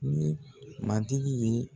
Ni mantigi ye.